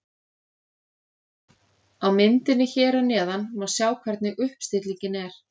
Á myndinni hér að neðan má sjá hvernig uppstillingin er.